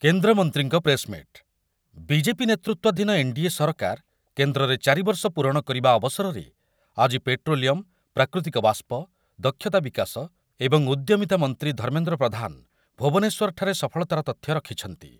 କେନ୍ଦ୍ରମନ୍ତ୍ରୀଙ୍କ press meet , BJP ନେତୃତ୍ୱାଧୀନ NDA ସରକାର କେନ୍ଦ୍ରରେ ଚାରି ବର୍ଷ ପୂରଣ କରିବା ଅବସରରେ ଆଜି ପେଟ୍ରୋଲିୟମ୍, ପ୍ରାକୃତିକ ବାଷ୍ପ, ଦକ୍ଷତା ବିକାଶ ଏବଂ ଉଦ୍ୟମିତା ମନ୍ତ୍ରୀ ଧର୍ମେନ୍ଦ୍ର ପ୍ରଧାନ ଭୁବନେଶ୍ୱରଠାରେ ସଫଳତାର ତଥ୍ୟ ରଖିଛନ୍ତି।